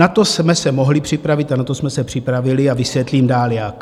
Na to jsme se mohli připravit a na to jsme se připravili, a vysvětlím dál, jak.